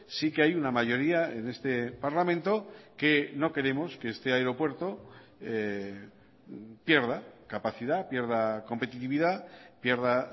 sí que hay una mayoría en este parlamento que no queremos que este aeropuerto pierda capacidad pierda competitividad pierda